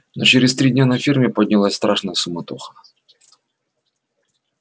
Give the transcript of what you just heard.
но через три дня на ферме поднялась страшная суматоха